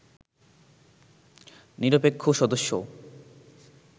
নিরপেক্ষ সদস্য